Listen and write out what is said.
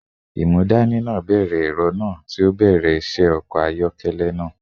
Imudani naa bẹrẹ ẹrọ naa, ti o bẹrẹ iṣẹ ọkọ ayọkẹlẹ naa